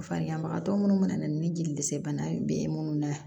Fa ɲaman tɔ munnu mana na ni jelisebana ye be munnu na